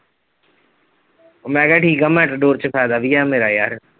ਮੈ ਕਿਹਾ ਠੀਕ ਆ ਚ ਫਾਇਦਾ ਵੀ ਆ ਮੇਰਾ ਯਾਰ।